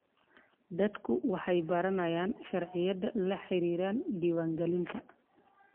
Dadku waxay baranayaan sharciyada la xiriira diiwaangelinta.